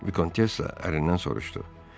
Vikontessa ərindən soruşdu: